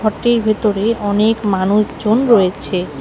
টির ভেতরে অনেক মানুষজন রয়েছে।